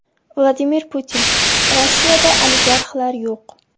Vladimir Putin: Rossiyada oligarxlar yo‘q.